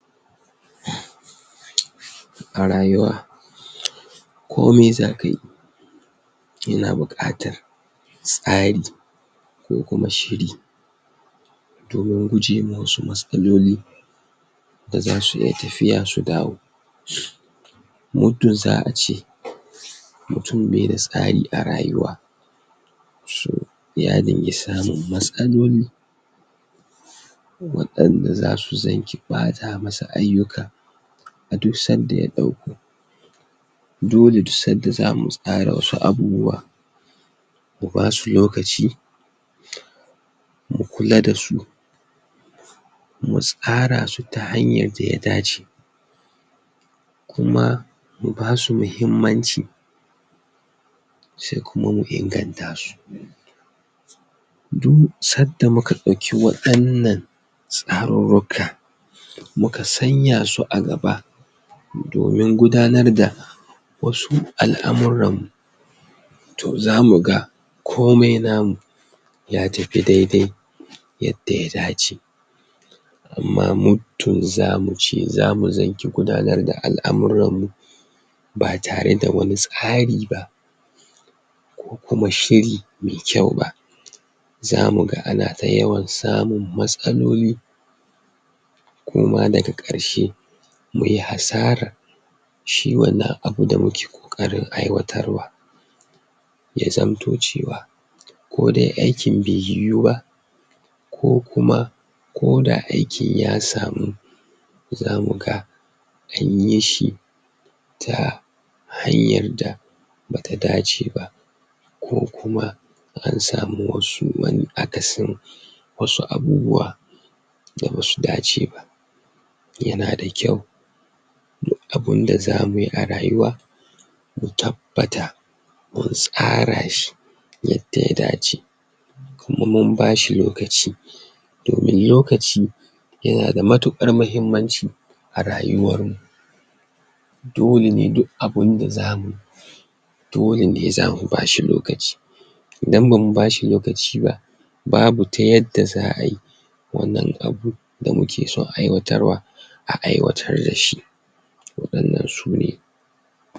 A rayuwa kome zaka yi yana buqatar tsari ko kuma shiri domin gujewa wasu matsaloli, da zasu iya tafiya su dawo, muddin za'a ce mutum bai da tsari a rayuwa shin ya dinga samun matsaloli wadanda zasu zangi bata masa ayyuka a duk sanda ya dauko, dole duk sanda zamu tsara wasu abubuwa mu basu lokaci mu kula dasu, mu tsara su ta hanyar da ta dace kuma basu mahimmaci sai kuma mu inganta su, duk sanda muka dauki wadannan tsarurruka muka sanya su a gaba domin gudanar da wasu alamuran mu toh zamu ga komai namu ya tafi dai dai yadda ya dace, toh zamu ce zamu zanci gudanar da alamuran mu ba tare da wani tsari ba ko kuma shiri me kyau ba, zamu ga ana ta yawan samun matsaloli ko ma daga karshe muyi asarar shi wannan abu da muke kokari aiwatar wa, zamto cewa ko dai aikin bai yiwu ko kuma ko da aikin ya samu, zamu ga anyi shi ta hanyar da bata dace ba ko kuma an samu wasu akasin wasu abubuwa da basu dace ba yana da kyau duk abinda za muyi a rayuwa mu tabbata mun samu tsara shi yadda ya dace kuma mu bashi lokaci lalaci yana da matukar mahimmaci a rayuwar mu, dole ne duk abinda za muyi dole ne zamu bashi lokaci, idan bamu bashi lokaci ba babu ta yadda za'a yi wannan abu da muke san aiwatarwa a aiwatar dashi, wannan sune